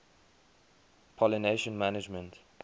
pollination management